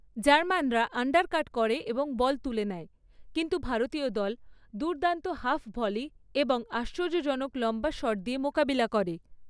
জার্মানরা undercut করে এবং ball তুলে নেয়, কিন্তু ভারতীয় দল দুর্দান্ত হাফ ভলি এবং আশ্চর্যজনক লম্বা শট দিয়ে মোকাবিলা করে।